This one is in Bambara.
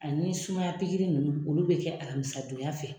Ani sumaya pikiri ninnu olu bɛ kɛ alamisadonya fɛ